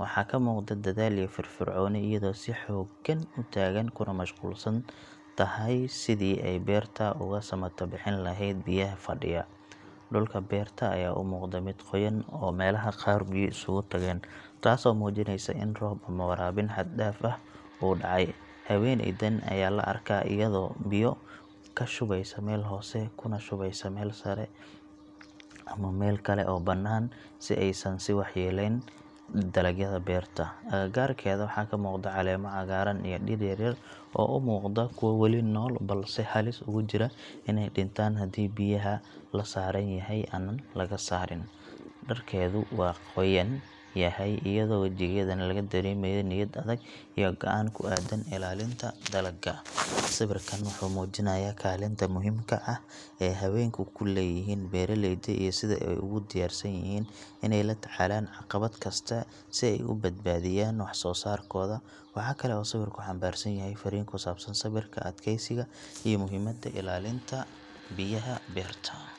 Waxaa ka muuqda dadaal iyo firfircooni iyadoo si xooggan u taagan kuna mashquulsan tahay sidii ay beerta uga samatabixin lahayd biyaha fadhiya. Dhulka beerta ayaa u muuqda mid qoyan oo meelaha qaar biyo isugu tageen, taasoo muujinaysa in roob ama waraabin xad dhaaf ah uu dhacay. Haweeneydan ayaa la arkaa iyadoo biyo ka shubeysa meel hoose kuna shubaysa meel sare ama meel kale oo bannaan si aysan u waxyeellayn dalagyada beerta. Agagaarkeeda waxaa muuqda caleemo cagaaran iyo dhir yar yar oo u muuqda kuwo weli nool balse halis ugu jira inay dhintaan haddii biyaha la saaran yahay aan laga saarin. Dharkeedu waa qoyan yahay iyadoo wajigeedana laga dareemayo niyad adag iyo go’aan ku aaddan ilaalinta dalagga. Sawirkan wuxuu muujinayaa kaalinta muhiimka ah ee haweenku ku leeyihiin beeraleyda iyo sida ay ugu diyaarsan yihiin inay la tacaalaan caqabad kasta si ay u badbaadiyaan wax soo saarkooda. Waxa kale oo sawirku xambaarsan yahay fariin ku saabsan sabirka, adkeysiga iyo muhiimadda ilaalinta biyaha beerta.